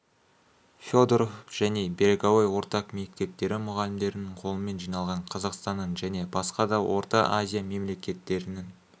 федеров және береговой орта мектептері мұғалімдерінің қолымен жиналған қазақстанның және басқа да орта азия мемлекеттерінің